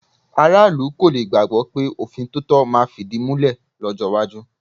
Aráàlú kò le gbàgbọ́ pé òfin tòótọ́ máa fìdímúlẹ̀ lọ́jọ́ iwájú.